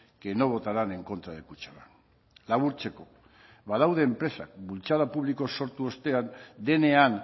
que no votarán en contra de kutxabank laburtzeko badaude enpresak bultzada publiko sortu ostean denean